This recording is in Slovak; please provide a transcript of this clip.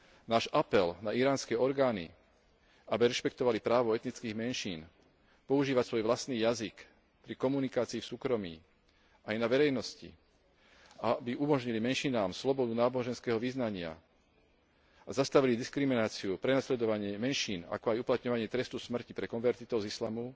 Náš apel na iránske orgány, aby rešpektovali právo etnických menšín používať svoj vlastný jazyk pri komunikácii v súkromí aj na verejnosti a aby umožnili menšinám slobodu náboženského vyznania a zastavili diskrimináciu, prenasledovanie menšín, ako aj uplatňovanie trestu smrti pre konvertitov z islamu,